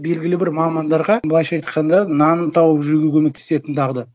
белгілі бір мамандарға былайша айтқанда нанын тауып жеуге көмектесетін дағды